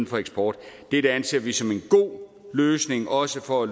for eksport det anser vi som en god løsning også for at